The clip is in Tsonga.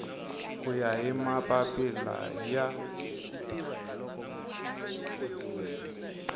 ku ya hi mapapila ya